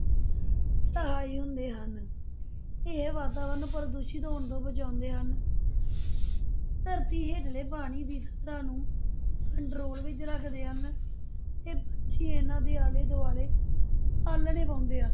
ਸਹਾਈ ਹੁੰਦੇ ਹਨ, ਇਹ ਵਾਤਾਵਰਨ ਪ੍ਰਦੂਸ਼ਿਤ ਹੋਣ ਤੋਂ ਬਚਾਉਂਦੇ ਹਨ ਧਰਤੀ ਹੇਠਲੇ ਪਾਣੀ ਦੀ ਸਤ੍ਹਾ ਨੂੰ control ਵਿਚ ਰੱਖਦੇ ਹਨ, ਤੇ ਪੰਛੀ ਇਨ੍ਹਾਂ ਦੇ ਆਲੇ ਦੁਆਲੇ ਆਲਣੇ ਪਾਉਂਦੇ ਆ।